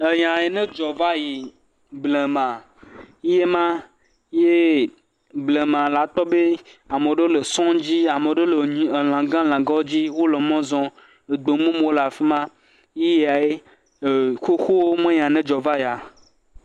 Enya yi ne dzɔ va yi, blema, yee ma. Yee blema la kpɔ be, ame ɖewo le sɔ̃ dzi, ame ɖewo le nyi, elãgã, lãgãwo dzi. wole mɔ zɔm. Egbemumuwo le afi ma. Eyae, xoxo me nya yi ne dzɔ va yia.